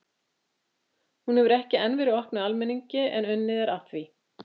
Hún hefur enn ekki verið opnuð almenningi en unnið er að því.